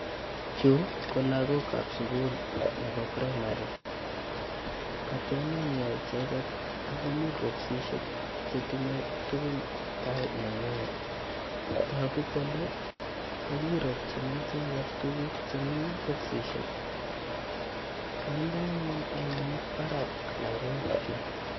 Chu ko lakok ap sukul nebo primary katononio icheket akomii bokisishek chetinyei tukun tai nengwany toku kole kakiropchini icheket tukuk chemii bokisishek kainde anyun eunek barak lakok chu.